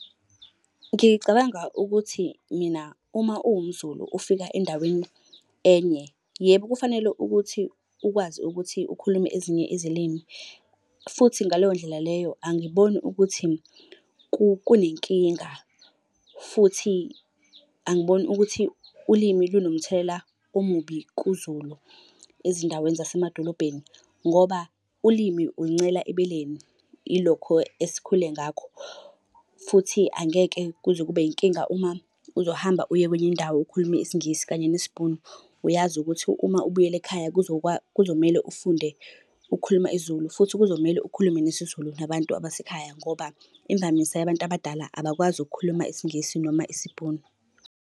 Ngicabanga ukuthi mina uma uwumZulu ufika endaweni enye, yebo kufanele ukuthi ukwazi ukuthi ukhulume ezinye izilimi. Futhi ngaleyo ndlela leyo angiboni ukuthi kunenkinga, futhi angiboni ukuthi ulimi lunomthelela omubi kuZulu ezindaweni zasemadolobheni, ngoba ulimi uluncela ebeleni, ilokho esikhule ngakho. Futhi angeke kuze kube yinkinga uma uzohamba uye kwenye indawo ukhulume isiNgisi kanye nesiBhunu. Uyazi ukuthi uma ubuyele ekhaya kuzomele ufunde ukukhuluma isiZulu, futhi kuzomele ukhulume nesiZulu nabantu abasekhaya ngoba imvamisa yabantu abadala abakwazi ukukhuluma isiNgisi noma isiBhunu.